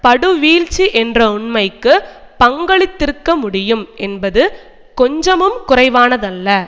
படுவீழ்ச்சி என்ற உண்மைக்கு பங்களித்திருக்க முடியும் என்பது கொஞ்சமும் குறைவானதல்ல